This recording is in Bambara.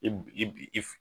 ib ib if